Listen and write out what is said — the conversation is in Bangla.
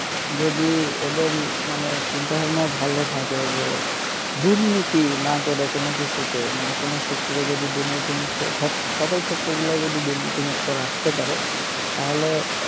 যদি এদের মানে চিন্তাভাবনা ভালো থাকে যে দুর্নীতি না করে কোন কিছুতে মানে কোন sector এ যদি দুর্নীতিমুক্ত সকল sector গুলায় যদি দুর্নীতিমুক্ত রাখতে পারে তাহলে,